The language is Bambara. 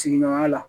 Sigiɲɔgɔnya la